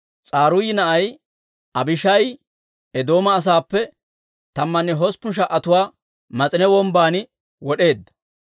S'aruuyi na'ay Abishaayi Eedooma asaappe tammanne hosppun sha"atuwaa Mas'ine Wombban wod'eedda.